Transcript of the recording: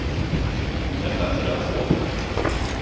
Er þetta ekki allnokkuð?